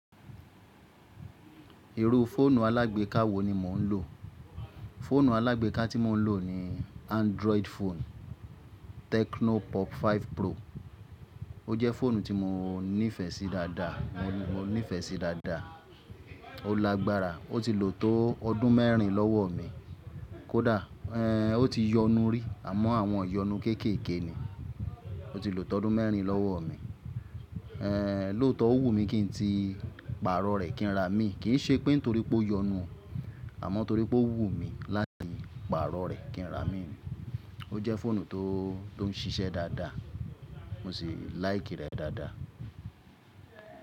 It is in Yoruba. Irú fóònù alágbèéká wo ni mò ń lò? Fóònù alágbèéká tí mò ń lò ni Android phone Tecno Pop Five Pro. Ó jẹ́ fóònù tí mo nífẹ̀ẹ́ sí dáadáa. Mo nífẹ̀ẹ́ sí dáadáa. Ó lágbára. Ó ti lò tó ọdún mẹ́rin lọ́wọ mí. Kódà èé o ti yọnu rí, àmọ́ àwọn iyọnu kéékèèké ni. Ó ti lò tó ọdún mẹ́rin lọ́wọ mí. Èé lóòótọ ó wù mí kí n ti pààrọ̀ rẹ̀ kí n ra míì. Kì í ṣe pé nítorí pó yọnu, àmọ́ torí pó wù mí láti pààrọ̀ rẹ̀ kí n ra míì. Ó jẹ́ fóònù tó, tó n ṣiṣẹ́ dáadáa. Mo sì láìkì rẹ̀ dáadáa.